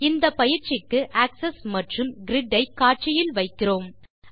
இந்தப்பயிற்சிக்கு axes மற்றும் grid ஐ காட்சியில் வைக்கிறோம்